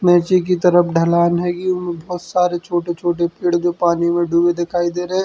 नीचे की तरफ ढ़लान हेगी बोहोत सारे छोटे-छोटे पेड़ जो पानी में डूबे दिखाई दे रहे --